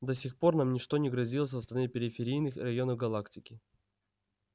до сих пор нам ничто не грозило со стороны периферийных районов галактики